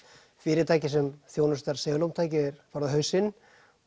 fyrirtækið sem þjónustar segulómtæki er farið á hausinn